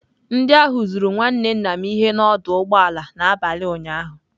Ndị ahụ zuru nwanne nna m ihe n'ọdụ ụgbọ ala n'abalị ụnyaahụ.